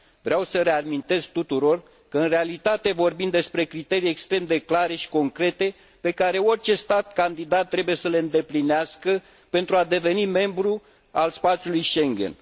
Vreau să reamintesc tuturor că, în realitate, vorbim despre criterii extrem de clare și concrete pe care orice stat candidat trebuie să le îndeplinească pentru a deveni membru al spațiului Schengen.